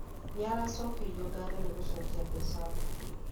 Nĩ aracokeirio ngatho nĩgucokia mbeca mbunge